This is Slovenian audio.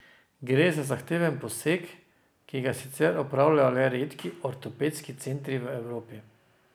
Gre za zahteven poseg, ki ga sicer opravljajo le redki ortopedski centri v Evropi.